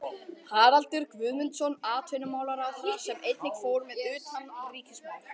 Haraldur Guðmundsson atvinnumálaráðherra, sem einnig fór með utanríkismál.